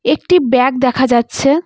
একটি ব্যাগ দেখা যাচ্ছে।